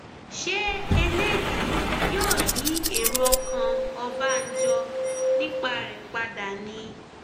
ṣé eléyìí yóò yí èrò ọkàn ọbànjọ nípa rẹ padà ni